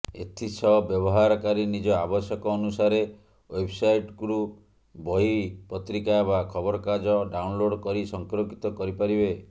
ଏଥିସହ ବ୍ୟବହାରକାରୀ ନିଜ ଆବଶ୍ୟକ ଅନୁସାରେ େଓ୍ବବ୍ସାଇଟ୍ରୁ ବହି ପତ୍ରିକା ବା ଖବରକାଗଜ ଡାଉନ୍ଲୋଡ୍ କରି ସଂରକ୍ଷିତ କରିପାରିବେ